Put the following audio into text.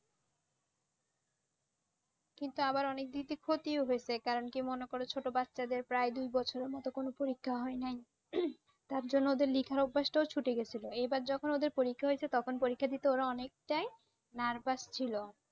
কিন্তু আবার অনেক দিক থেকে ক্ষতিও হয়েছে কারণ কি মনে কর ছোট বাচ্চাদের প্রায় দু বছরের মত কোন পরীক্ষা হয়নি। তার জন্য তো লিখার অভ্যাসটাও ছুটে গেছিল এবার যখন ওদের পরীক্ষা হয়েছে তখন পরীক্ষা দিতে ওরা অনেকটাই Nervous ছিল